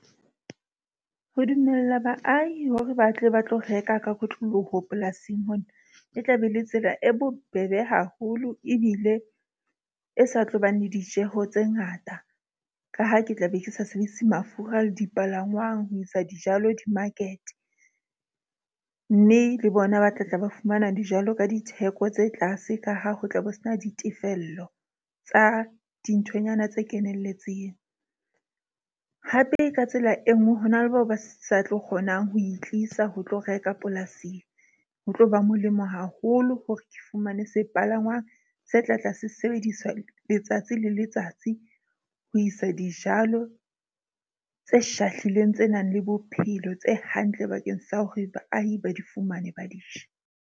Ho dumella baahi hore batle ba tlo reka ka kotloloho polasing mona. E tla be e le tsela e bobebe haholo ebile e sa tlobang le ditjeho tse ngata. Ka ha ke tla be ke sa sebedise mafura le dipalangwang ho isa dijalo di-market. Mme le bona ba tla tla ba fumana dijalo ka ditheko tse tlase. Ka ha ho tla bo sena ditefello tsa dinthonyana tse kenelletseng, hape ka tsela e nngwe hona le bao ba sa tlo kgonang ho e tlisa ho tlo reka polasing. Ho tlo ba molemo haholo hore ke fumane sepalangwang se tlatla se sebediswa letsatsi le letsatsi ho isa dijalo tse shahlileng tse nang le bophelo tse hantle bakeng sa hore baahi ba di fumane ba di je.